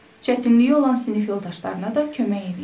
Çətinliyi olan sinif yoldaşlarına da kömək eləyir.